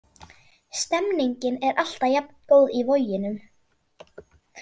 Stemningin er alltaf jafn góð í Voginum.